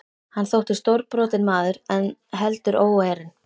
Hann þótti stórbrotinn maður en heldur óeirinn.